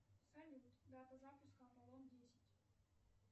салют дата запуска аполлон десять